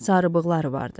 Sarıbığları vardı.